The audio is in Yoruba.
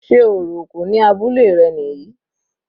Sé orò òkú ní abúlé rẹ̀ níyì?